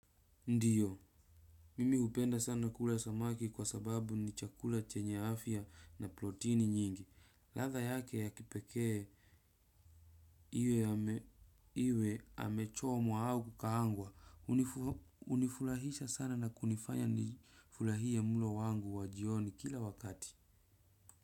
Ndio, mimi hupenda sana kula samaki kwa sababu ni chakula chenye afya na protini nyingi. Ladha yake ya kipekee iwe amechomwa au kukaangwa hunifurahisha sana na kunifanya nifurahie mlo wangu wa jioni kila wakati.